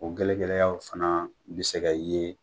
O gɛlɛ gɛlɛyaw fana bi se ka ye